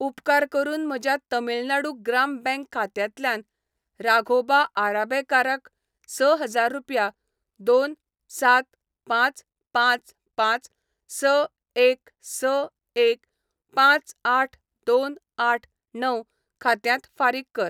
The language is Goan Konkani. उपकार करून म्हज्या तमिळनाडू ग्राम बँक खात्यांतल्यान राघोबा आराबेकाराक स हजार रुपया दोन सात पांच पांच पांच स एक स एक पांच आठ दोन आठ णव खात्यांत फारीक कर. .